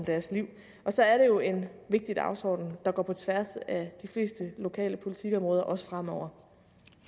deres liv og så er det jo en vigtig dagsorden der går på tværs af de fleste lokale politikområder også fremover